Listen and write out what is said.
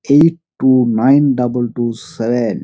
Eight two nine double two seven.